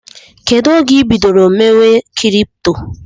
Kedụ oge ibidoro mewe kripto?